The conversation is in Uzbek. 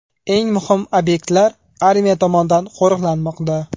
Eng muhim obyektlar armiya tomonidan qo‘riqlanmoqda.